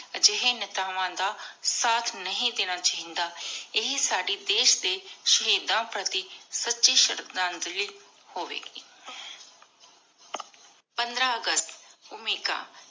ਅਜਿਹੇ ਨੇਤਾਵਾਂ ਦਾ ਸਾਥ ਨਹੀ ਦੇਣਾ ਚਾਹੀ ਦਾ ਇਹ ਸਾਡੇ ਦੇਸ਼ ਦੇ ਸ਼ਹੀਦਾਂ ਫ਼ਤੇਹ ਸਚੀ ਸ਼੍ਰਧਾਂਜਲੀ ਹੋਵੇਗੀ। ਪੰਦ੍ਰ ਅਗਸਤ ਭੂਮਿਕਾ